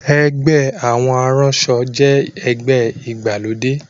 Ẹgbẹ́ àwọn aránṣọ jẹ́ ẹgbẹ́ ìgbàlódé